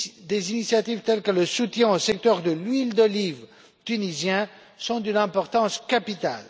Des initiatives telles que le soutien au secteur de l'huile d'olive tunisien sont d'une importance capitale.